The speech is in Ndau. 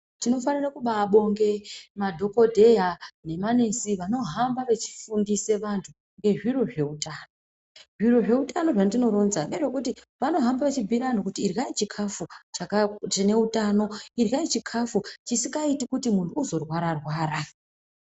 Tinofanire kubabonge madhogodheya nemanesi vanohamba vechifundise vantu ngezviro zveutano. Zviro zveutano zvandinoronzwa ngezvekuti vanohamba vechimbuira vantu kuti iryai chikafu chine utano. Iryai chikafu chisikaiti kuti muntu uzorwara-rwara.